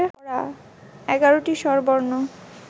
এগারোটি স্বরবর্ণ